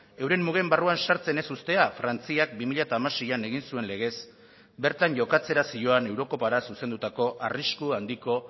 euren mugen barruan sartzen ez uztea frantziak bi mila hamaseian egin zuen legez bertan jokatzera zioan eurokopara zuzendutako arrisku handiko